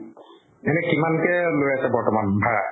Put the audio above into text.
এনে কিমান কে লৈ আছে বৰ্তমান ভাড়া?